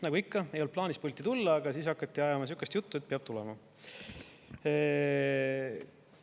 Nagu ikka, ei olnud plaanis pulti tulla, aga siis hakati ajama sihukest juttu, et peab tulema.